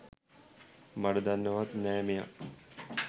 මඩ දන්නෙවත් නෑ මෙයා.